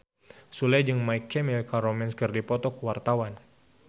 Sule jeung My Chemical Romance keur dipoto ku wartawan